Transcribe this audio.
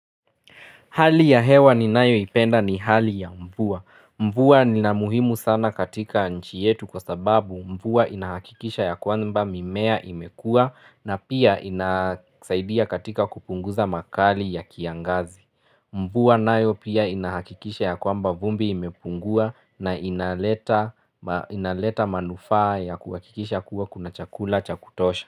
Hali ya hewa ninayo ipenda ni hali ya mvua. Mvua ni ya muhimu sana katika nchi yetu kwa sababu mvua inahakikisha ya kwamba mimea imekua na pia inasaidia katika kupunguza makali ya kiangazi. Mvua nayo pia inahakikisha ya kwamba vumbi imepungua na inaleta ma inaleta manufaa ya kuhakikisha kuwa kuna chakula cha kutosha.